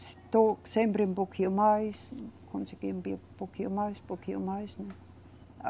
Estou sempre um pouquinho mais, consegui um pouquinho mais, um pouquinho mais, né?